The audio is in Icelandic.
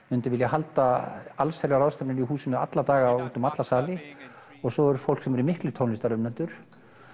myndi vilja halda ráðstefnur í húsinu alla daga út um alla sali og svo er fólk sem eru miklir tónlistarunnendur